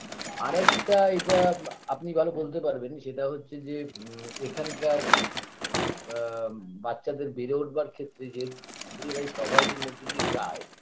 আরেকটা এটা আপনি ভালো বলতে পারবেন সেটা হচ্ছে যে ম এখানকার বা বাচ্চাদের বেড়ে ওঠবার ক্ষেত্রে যে poverty -র মধ্যে দিয়ে যায়